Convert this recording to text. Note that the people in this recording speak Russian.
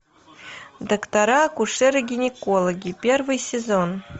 доктора акушеры гинекологи первый сезон